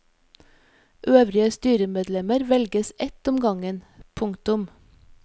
Øvrige styremedlemmer velges ett om gangen. punktum